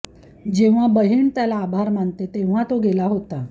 जेव्हा बहीण त्याला आभार मानते तेव्हा तो गेला होता